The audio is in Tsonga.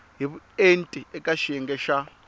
hi vuenti eka xiyenge xa